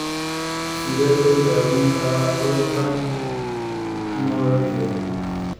Sidee loo daweyn karaa cudurka Norrie?